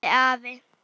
spurði afi.